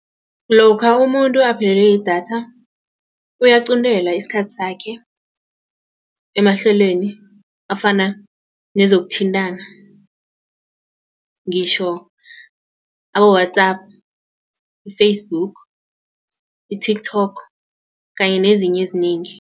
Lokha umuntu aphelelwe yidatha uyaqintelwa isikhathi sakhe emahlelweni afana nezokuthintana ngitjho abo-WhatsApp, i-Facebook i-Tiktok kanye nezinye ezinengi.